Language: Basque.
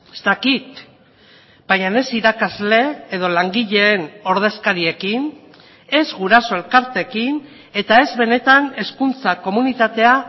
ez dakit baina ez irakasle edo langileen ordezkariekin ez guraso elkarteekin eta ez benetan hezkuntza komunitatea